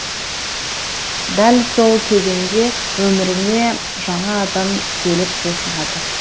дәл сол кезеңде өміріңе жаңа адам келіп қосылады